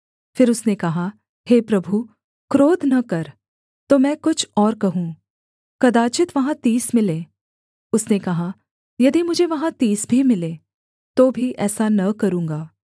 फिर उसने कहा हे प्रभु क्रोध न कर तो मैं कुछ और कहूँ कदाचित् वहाँ तीस मिलें उसने कहा यदि मुझे वहाँ तीस भी मिलें तो भी ऐसा न करूँगा